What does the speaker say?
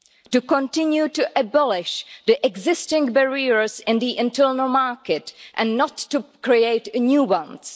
to continue to abolish the existing barriers in the internal market, and not to create new ones